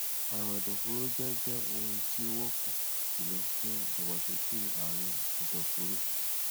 àrùn ẹdọfóró jẹ jẹ ohun tí ó wọpọ jùlọ fún ìdàgbàsókè àrùn ẹdọfóró